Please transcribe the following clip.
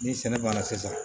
Ni sɛnɛ banna sisan